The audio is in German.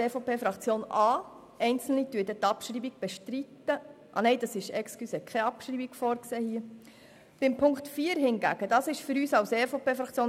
Die Ziffer 4 ist für uns eine sehr wichtige Forderung, und hier halten wir an einer Motion fest.